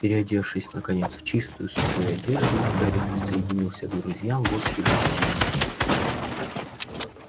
переодевшись наконец в чистую сухую одежду гарри присоединился к друзьям в общей гостиной